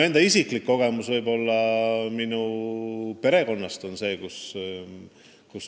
Üks teine isiklik kogemus on mul oma perekonnast.